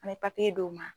An bɛ d'u ma